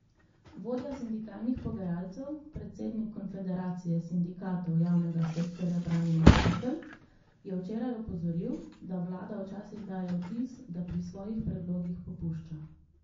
Vodja sindikalnih pogajalcev, predsednik konfederacije sindikatov javnega sektorja Branimir Štukelj, je včeraj opozoril, da vlada včasih daje vtis, da pri svojih predlogih popušča.